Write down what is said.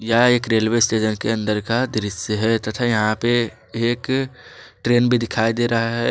यहां एक railway station के अंदर का दृश्य है तथा यहां पर एक ट्रेन भी दिखाई दे रहा है।